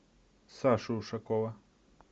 сашу ушакова